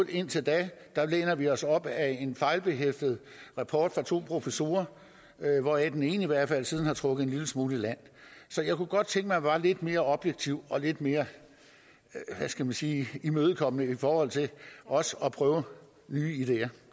indtil da læner vi os op ad en fejlbehæftet rapport fra to professorer hvoraf den ene i hvert fald siden har trukket en lille smule i land så jeg kunne godt tænke mig var lidt mere objektive og lidt mere hvad skal man sige imødekommende i forhold til også at prøve nye ideer